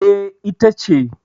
E, ita ce.